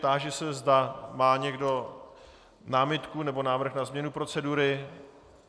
Táži se, zda má někdo námitku nebo návrh na změnu procedury?